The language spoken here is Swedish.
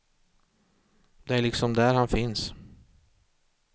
Det är liksom där han finns.